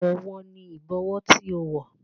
Àwọ̀ wo ni Ìbọwọ́ tí ó wọ̀?